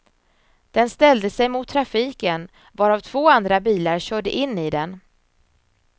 Den ställde sig mot trafiken, varav två andra bilar körde in i den.